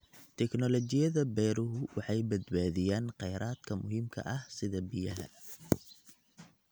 Tignoolajiyada beeruhu waxay badbaadiyaan kheyraadka muhiimka ah sida biyaha.